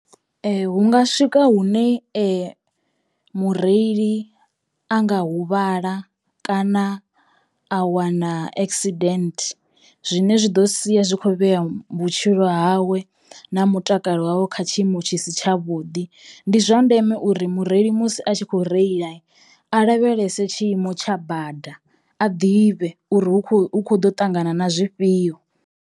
Hunga swika hune mureili a nga huvhala kana a wana accident zwine zwi ḓo sia zwi khou vhea vhutshilo hawe na mutakalo wavho kha tshiimo tshi si tshavhuḓi. Ndi zwa ndeme uri mureili musi a tshi kho reilai lavhelese tshiimo tsha bada a ḓivhe uri hu kho hu kho ḓo u ṱangana na zwifhio.